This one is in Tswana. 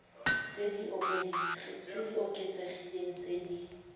tse di oketsegileng tse di